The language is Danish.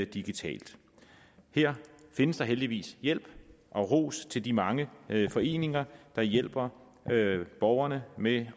digitalt her findes der heldigvis hjælp og ros til de mange foreninger der hjælper borgerne med